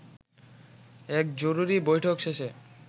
এক জরুরী বৈঠক শেষে